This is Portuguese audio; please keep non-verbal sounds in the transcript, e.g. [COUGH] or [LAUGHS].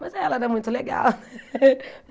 Mas ela era muito legal. [LAUGHS]